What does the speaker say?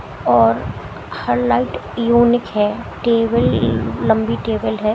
और हर light unique है टेबल लंबी टेबल है।